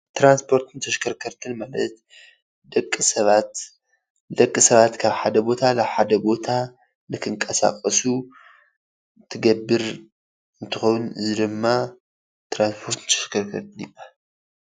ትራንስፖርትን ተሽከርከርትን ማለት ደቂ ሰባት ደቂ ሰባት ካብ ሓደ ቦታ ናብ ሓደ ቦታ ንክንቀሳቀሱ እትገብር እንትከውን እዚ ድማ ትራንስፖርትን ተሽከርከርትን ይባሃል፡፡